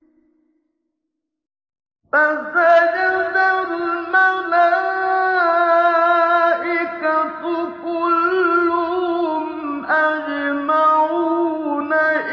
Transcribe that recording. فَسَجَدَ الْمَلَائِكَةُ كُلُّهُمْ أَجْمَعُونَ